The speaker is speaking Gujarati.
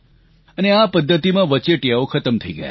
અને આ પદ્ધતિમાં વચેટીયાઓ ખતમ થઈ ગયા